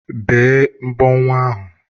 Bee mbọ nwa ahu!